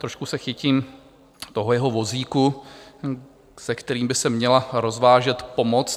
Trošku se chytím toho jeho vozíku, s kterým by se měla rozvážet pomoc.